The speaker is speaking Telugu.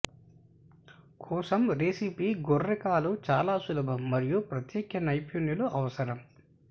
కోసం రెసిపీ గొర్రె కాలు చాలా సులభం మరియు ప్రత్యేక నైపుణ్యాలు అవసరం